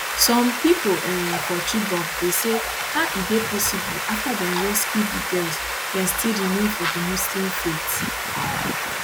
some pipo um for chibok dey say how e dey possible afta dem rescue di girls dem still remain for di muslim faith